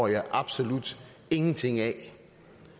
jeg absolut ingenting forstår af